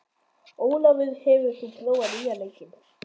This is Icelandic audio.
Ólafur, hefur þú prófað nýja leikinn?